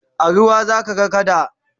a ruwa zaka ga kada